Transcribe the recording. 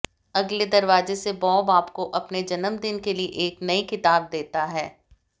अगले दरवाजे से बॉब आपको अपने जन्मदिन के लिए एक नई किताब देता है